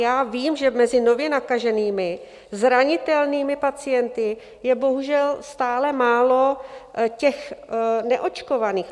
Já vím, že mezi nově nakaženými zranitelnými pacienty je bohužel stále málo těch neočkovaných.